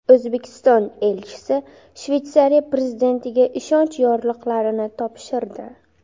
O‘zbekiston elchisi Shveysariya prezidentiga ishonch yorliqlarini topshirdi.